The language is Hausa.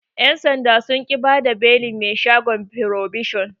Yan' sanda sun ƙi bada belin mai shagon frobishon.